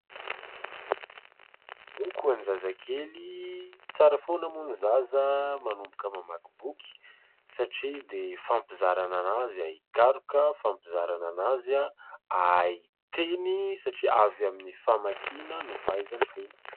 Boky ho an'ny zazakely. Tsara foana moa ny zaza manomboka mamaky boky, satria dia fampizarana azy hahay hikaroka, fampizaranana azy hahay hiteny satria avy amin'ny famakiana no fahaizany teny.